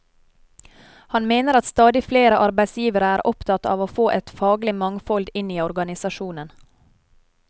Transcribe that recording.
Han mener at stadig flere arbeidsgivere er opptatt av å få et faglig mangfold inn i organisasjonen.